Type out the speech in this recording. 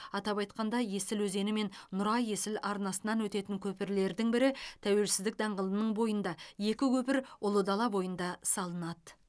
атап айтқанда есіл өзені мен нұра есіл арнасынан өтетін көпірлердің бірі тәуелсізідк даңғылының бойында екі көпір ұлы дала бойында салынады